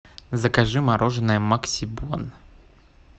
закажи мороженое максибон